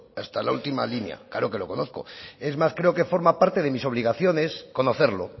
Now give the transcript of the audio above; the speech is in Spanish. hasta la última línea claro que lo conozco es más creo que forma parte de mis obligaciones conocerlo